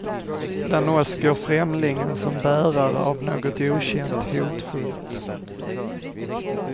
Bland oss går främlingen som bärare av något okänt, hotfullt.